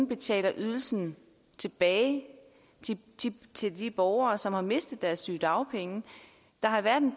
betale ydelsen tilbage til de borgere som har mistet deres sygedagpenge der har været en